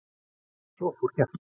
Svo fór hjartað.